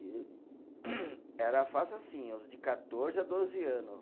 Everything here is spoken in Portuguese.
E era fácil assim, os de quatorze a doze anos.